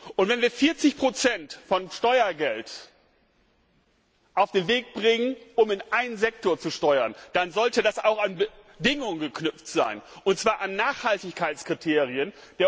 Und wenn wir 40 der Steuergelder auf den Weg bringen, um einen Sektor zu steuern, dann sollte das auch an Bedingungen geknüpft sein, und zwar an Nachhaltigkeitskriterien.